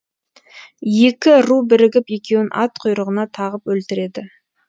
екі ру бірігіп екеуін ат құйрығына тағып өлтіреді